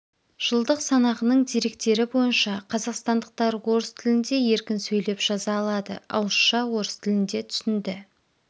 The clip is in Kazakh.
жылдық санағының деректері бойынша қазақстандықтар орыс тілінде еркін сөйлеп жаза алады ауызша орыс тілінде түсінді